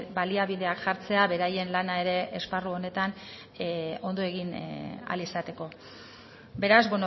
baliabideak jartzea beraien lana ere esparru honetan ondo egin ahal izateko beraz